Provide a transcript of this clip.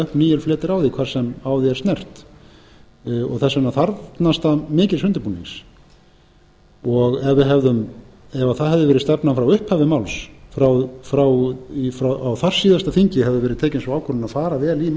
upp nýir fletir á því hvar sem á því er snert þess vegna þarfnast það mikils undirbúnings ef það hefði verið stefnan frá upphafi máls að á þarsíðasta þingi hefði verið tekin sú ákvörðun að fara vel í